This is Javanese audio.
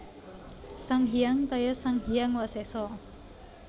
Sang Hyang Taya Sang Hyang Wasesa